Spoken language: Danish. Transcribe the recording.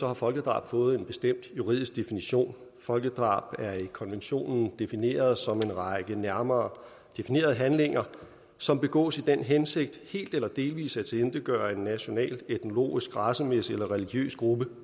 har folkedrab fået en bestemt juridisk definition folkedrab er i konventionen defineret som en række nærmere definerede handlinger som begås i den hensigt helt eller delvis at tilintetgøre en national etnologisk racemæssig eller religiøs gruppe